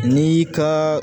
Ni ka